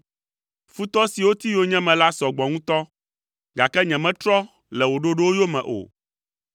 Futɔ siwo ti yonyeme la sɔ gbɔ ŋutɔ, gake nyemetrɔ le wò ɖoɖowo yome o.